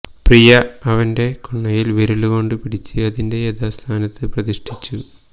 പ്രിയ അവന്റെ കുണ്ണയിൽ വിരലു കൊണ്ട് പിടിച്ച് അതിന്റെ യഥാസ്ഥാനത്ത് പ്രതിഷ്ഠിച്ചു